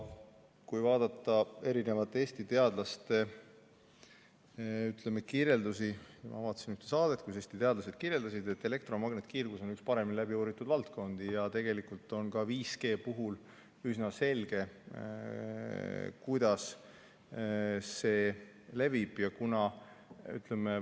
Kui vaadata erinevate Eesti teadlaste kirjeldusi ja ma vaatasin ühte saadet, kus Eesti teadlased rääkisid, siis elektromagnetkiirgus on üks paremini läbi uuritud valdkondi ja tegelikult on ka 5G puhul üsna selge, kuidas see levib.